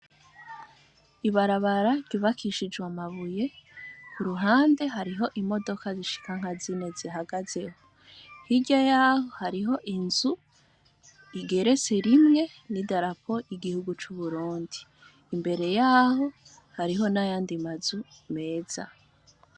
Ibarabara ryubakishijwe amabuye, ku ruhande hariho imodoka zishikanka zine zihagazeho hirya yaho, hariho inzu igerese rimwe n'i darapo igihugu c'uburundi imbere yaho hariho n'ayandi mazu meza.